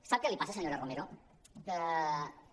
sap què li passa senyora romero què